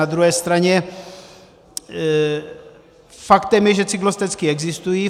Na druhé straně faktem je, že cyklostezky existují.